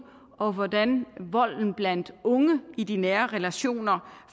og hvordan volden blandt unge i de nære relationer